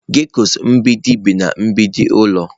Geckos mgbidi bi na mgbidi n'ụlọ.